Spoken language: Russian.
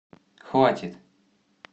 хватит